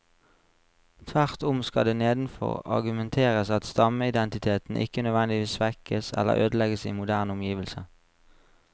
Tvert om skal det nedenfor argumenteres at stammeidentiteten ikke nødvendigvis svekkes eller ødelegges i moderne omgivelser.